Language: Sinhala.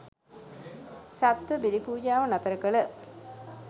සත්ත්ව බිලි පූජාව නතර කළ